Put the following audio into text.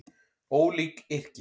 Ólík yrki